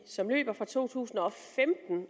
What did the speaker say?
som løber fra to tusind og femten